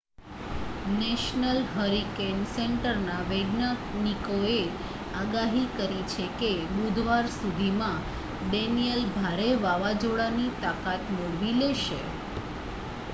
national hurricane સેન્ટરના વૈજ્ઞાનિકોએ આગાહી કરી છે કે બુધવાર સુધીમાં ડેનિયેલ ભારે વાવાઝોડાની તાકાત મેળવી લેશે